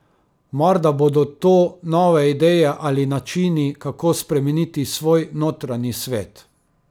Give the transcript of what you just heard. Morda bodo to nove ideje ali načini, kako spremeniti svoj notranji svet.